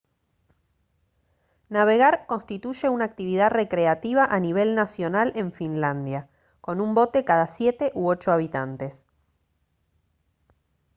navegar constituye una actividad recreativa a nivel nacional en finlandia con un bote cada siete u ocho habitantes